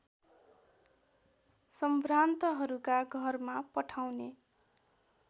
सम्भ्रान्तहरूका घरमा पठाउने